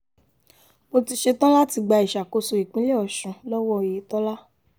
mo ti ṣetán láti gba ìṣàkóso ìpínlẹ̀ ọ̀sùn lọ́wọ́ oyetola